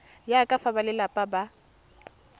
ya ka fa balelapa ba